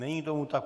Není tomu tak.